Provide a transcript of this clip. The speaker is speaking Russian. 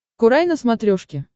курай на смотрешке